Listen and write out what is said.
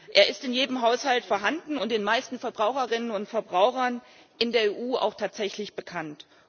Es ist in jedem Haushalt vorhanden und den meisten Verbraucherinnen und Verbrauchern in der EU auch tatsächlich bekannt.